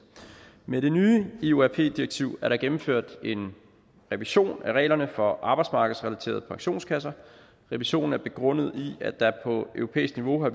med det nye iorp ii direktiv er der gennemført en revision af reglerne for arbejdsmarkedsrelaterede pensionskasser revisionen er begrundet i at der på europæisk niveau har